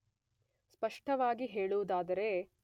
ಸ್ಪಷ್ಟವಾಗಿ ಹೇಳುವುದಾದರೆ